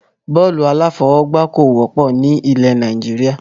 Bọ́ọ́lù alafọ̀wọ́gba kò wọ́pọ̀ ni ilẹ̀ Nàìjíríà.